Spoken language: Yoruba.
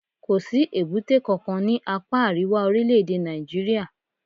Kò sí èbúté kankan ní apá àríwá orílẹ̀-èdè Nàìjíríà.